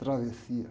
Travessia.